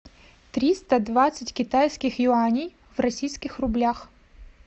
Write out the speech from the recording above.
триста двадцать китайских юаней в российских рублях